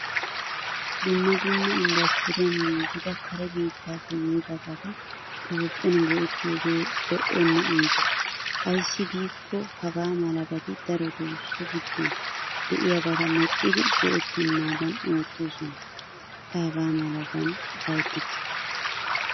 Dumma dumma industriyaan giigida kare biittappe yiidabata toophphiyan go'ettiyoge lo'onne iitta. Ayssi giiko hagaamalabati daroto so giddon de'iyabata medhdhidi goettenadan oottosona. Ta hagamalaban ufayttikke.